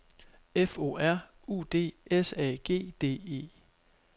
F O R U D S A G D E